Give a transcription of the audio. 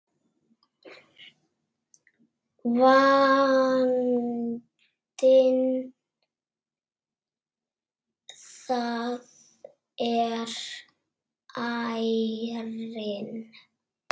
Vandinn þar er ærinn.